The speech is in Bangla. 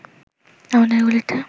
আমাদের গলিতে